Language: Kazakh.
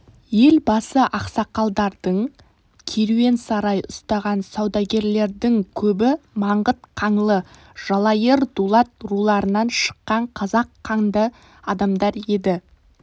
ел басы ақсақалдардың керуенсарай ұстаған саудагерлердің көбі маңғыт қаңлы жалайыр дулат руларынан шыққан қазақ қанды адамдар еді